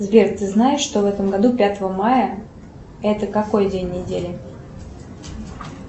сбер ты знаешь что в этом году пятое мая это какой день недели